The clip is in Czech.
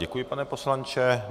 Děkuji, pane poslanče.